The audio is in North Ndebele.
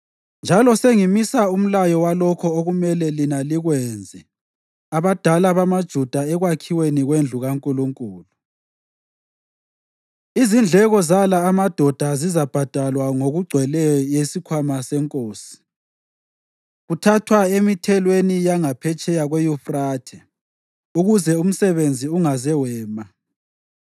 Njalo sengimisa umlayo walokho okumele lina likwenzele abadala bamaJuda ekwakhiweni kwendlu kaNkulunkulu: Izindleko zala amadoda zizabhadalwa ngokugcweleyo yisikhwama senkosi, kuthathwa emithelweni yangaphetsheya kweYufrathe ukuze umsebenzi ungaze wema.